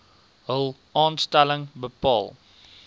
hul aanstelling bepaal